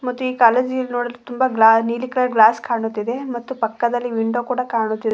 ಮತ್ತು ಈ ಕಾಲೇಜಿಗೆ ನೋಡಲು ತುಂಬ ಗ್ಲಾ ನೀಲಿ ಕಲರ್ ಗ್ಲಾಸ್ ಕಾಣುತ್ತಿದೆ ಮತ್ತು ಪಕ್ಕದಲ್ಲಿ ವಿಂಡೋ ಕೂಡ ಕಾಣುತಿದೆ.